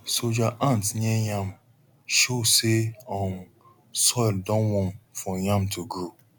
soldier ant near yam show say um soil don warm for yam to grow